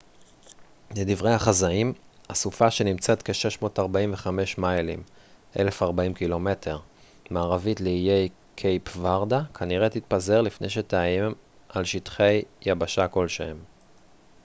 "לדברי החזאים הסופה שנמצאת כ-645 מיילים 1040 ק""מ מערבית לאיי קייפ ורדה כנראה תתפזר לפני שתאיים על שטחי יבשה כלשהם.